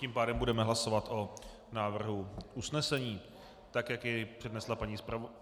Tím pádem budeme hlasovat o návrhu usnesení tak, jak jej přednesla paní zpravodajka.